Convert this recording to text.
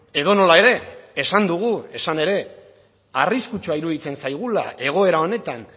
edonola ere esan dugu esan ere arriskutsua iruditzen zaigula egoera honetan